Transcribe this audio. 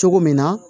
Cogo min na